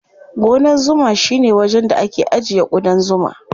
Gonan zuma shine wajen da ake ajiye ƙudan zuma.